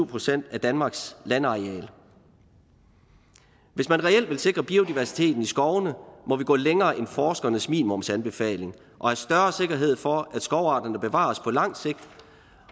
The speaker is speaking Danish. procent af danmarks landareal hvis man reelt vil sikre biodiversiteten i skovene må vi gå længere end forskernes minimumsanbefaling og have større sikkerhed for at skovarterne bevares på lang sigt